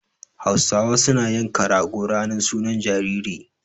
Hausawa suna yanka rago ranar sunan jariri.